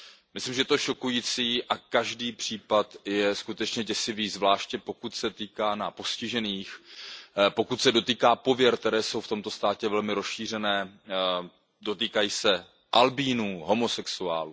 Myslím si, že je to šokující a každý případ je skutečně děsivý, zvláště pokud se týká postižených, pokud se dotýká pověr, které jsou v tomto státě velmi rozšířené, dotýkají se albínů, homosexuálů.